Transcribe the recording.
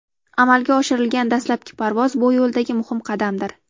Amalga oshirilgan dastlabki parvoz bu yo‘ldagi muhim qadamdir.